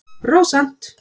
Rósant